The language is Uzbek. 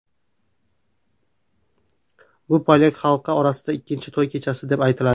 Bu polyak xalqi orasida ikkinchi to‘y kechasi deb aytiladi.